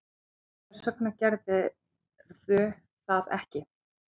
Hvers vegna gerirðu það ekki?